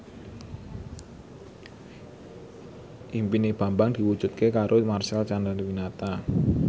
impine Bambang diwujudke karo Marcel Chandrawinata